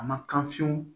A ma kan fiyew